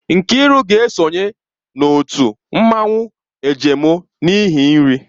Nkiru ga-esonye na otu mmanwụ agemọ n'ihi nri.